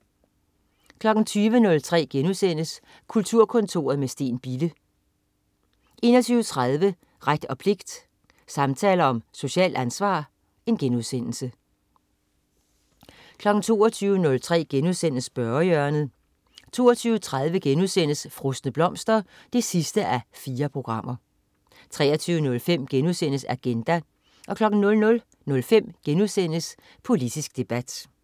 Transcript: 20.03 Kulturkontoret med Steen Bille* 21.30 Ret og pligt. Samtaler om socialt ansvar* 22.03 Spørgehjørnet* 22.30 Frosne blomster 4:4* 23.05 Agenda* 00.05 Politisk debat*